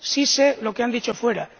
sí sé lo que han dicho fuera.